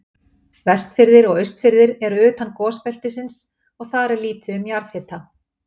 Vestfirðir og Austfirðir eru utan gosbeltisins og þar er lítið um jarðhita.